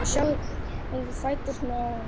Sjáiði fæturna á honum.